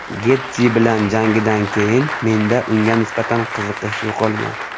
Getji bilan jangidan keyin menda unga nisbatan qiziqish yo‘qolgan.